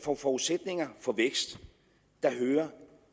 forudsætninger for vækst hører